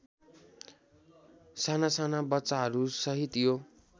सानासाना बच्चाहरूसहित यो